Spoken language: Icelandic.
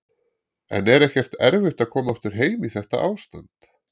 En er ekkert erfitt að koma aftur heim í þetta ástand?